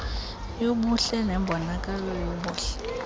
yobuhle nembonakalo yobuhle